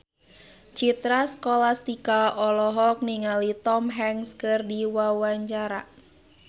Citra Scholastika olohok ningali Tom Hanks keur diwawancara